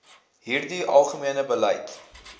hierdie algemene beleid